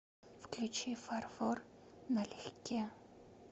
включи фар фор на легке